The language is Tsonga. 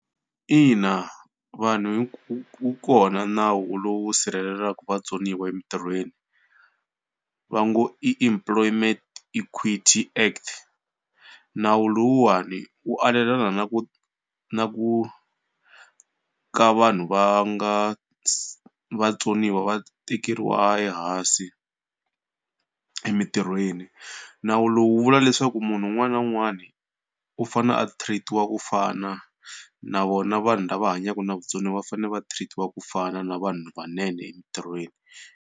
Ina vanhu wu kona nawu lowu sirhelelaka vatsoniwa emitirhweni va ngo i Employment Equity Act. Nawu lowuwani wu alelana na ku na ku ka vanhu va nga vatsoniwa va tekeriwa ehansi emitirhweni. Nawu lowu vula leswaku munhu un'wana na un'wana u fanele a treat-iwa ku fana na vona vanhu lava hanyaka na vutsoniwa va fanele va treat-iwa ku fana na vanhu vanene emitirhweni.